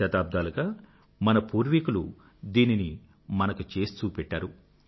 శతాబ్దాలుగా మన పూర్వీకులు దీనిని మనకు చేసి చూపెట్టారు